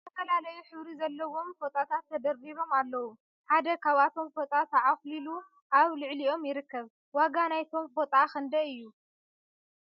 ዝተፈላለዩ ሕብሪ ዘለዎም ፎጣታት ተደርዲሮም ኣለዉ ። ሓደ ካብቶም ፎጣ ተዕኩዩ ኣብ ልዕሊኦም ይርከብ ። ዋጋ ናይቶም ፎጣ ክንደይ እዩ ?